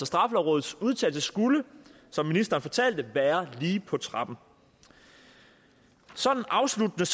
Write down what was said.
straffelovrådets udtalelse skulle som ministeren fortalte være lige på trapperne sådan afsluttende